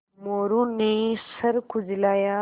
मोरू ने सर खुजलाया